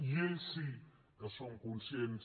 i ells sí que són conscients